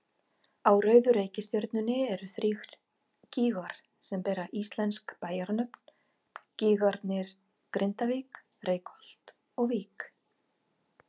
Á rauðu reikistjörnunni eru þrír gígar sem bera íslensk bæjarnöfn, gígarnir Grindavík, Reykholt og Vík.